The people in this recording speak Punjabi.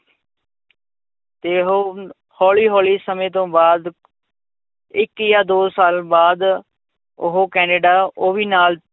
ਤੇ ਉਹ ਹੌਲੀ ਹੌਲੀ ਸਮੇਂ ਤੋਂ ਬਾਅਦ ਇੱਕ ਜਾਂ ਦੋ ਸਾਲ ਬਾਅਦ, ਉਹ ਕੈਨੇਡਾ ਉਹ ਵੀ ਨਾਲ